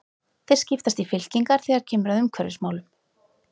Þeir skiptast í fylkingar þegar kemur að umhverfismálum.